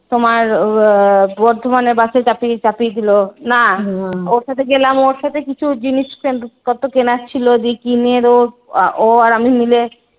তোমার আহ বর্ধমানে বাসে চাপিয়ে চাপিয়ে দিল না ওর সাথে গেলাম ওর সাথে কিছু জিনিস কত কেনার ছিল যে কিনে ও আর আমি মিলে